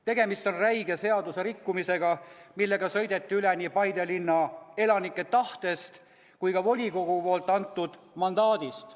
Tegemist on räige seaduserikkumisega, millega sõideti üle nii Paide linnaelanike tahtest kui ka volikogu poolt antud mandaadist.